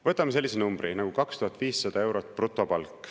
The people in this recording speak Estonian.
Võtame sellise numbri nagu 2500 eurot brutopalk.